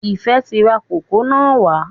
Ifẹ ti rà kókò na wà